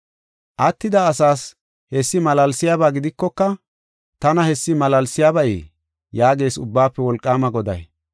“Attida asaas hessi malaalsiyaba gidikoka, tana hessi malaalsiyabayee? yaagees Ubbaafe Wolqaama Goday.